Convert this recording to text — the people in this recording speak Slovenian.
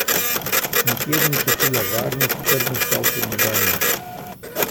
Nikjer ni čutila varnih, trdnih tal pod nogami.